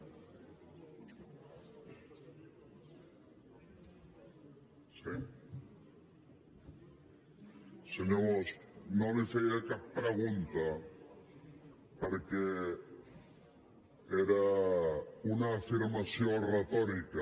senyor bosch no li feia cap pregunta perquè era una afirmació retòrica